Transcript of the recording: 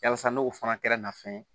Yasa n'o fana kɛra nafɛn ye